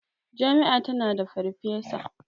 Jami'a tana da farfesa.